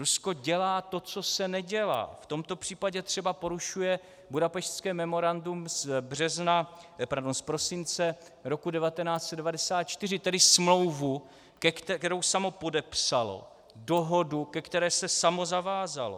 Rusko dělá to, co se nedělá, v tomto případě třeba porušuje Budapešťské memorandum z prosince roku 1994, tedy smlouvu, kterou samo podepsalo, dohodu, ke které se samo zavázalo.